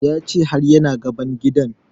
Ya ce har ya na gaban gidan